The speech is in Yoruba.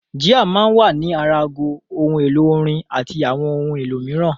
Jíà máa ń wà ní ara aago, ohun èlò-orin àti àwọn ohun èlò mìíràn.